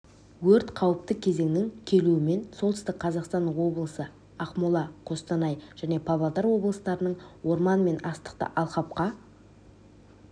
өрт қауіпті кезеңнің келуімен солтүстік қазақстан облысы ақмола қостанай және павлодар облыстарының орман мен астықты алқапқа